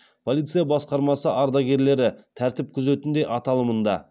полиция басқармасы ардагерлері тәртіп күзетінде аталымында